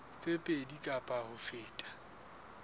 tse pedi kapa ho feta